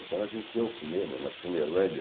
Então a gente ia ao cinema, na Cinelândia.